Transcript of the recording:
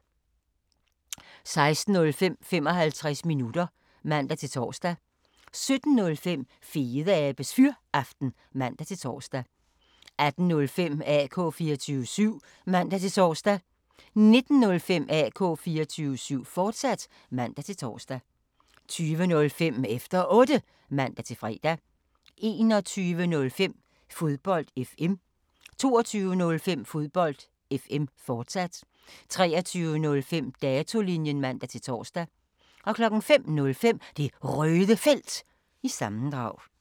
16:05: 55 minutter (man-tor) 17:05: Fedeabes Fyraften (man-tor) 18:05: AK 24syv (man-tor) 19:05: AK 24syv, fortsat (man-tor) 20:05: Efter Otte (man-fre) 21:05: Fodbold FM 22:05: Fodbold FM, fortsat 23:05: Datolinjen (man-tor) 05:05: Det Røde Felt – sammendrag